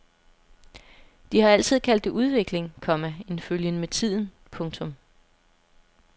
De har altid kaldt det udvikling, komma en følgen med tiden. punktum